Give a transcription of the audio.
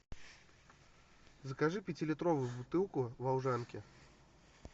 закажи пятилитровую бутылку волжанки